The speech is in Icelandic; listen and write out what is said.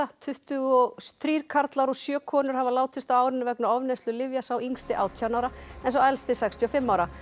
tuttugu og þrír karlar og sjö konur hafa látist á árinu vegna ofneyslu lyfja sá yngsti átján ára en sá elsti sextíu og fimm ára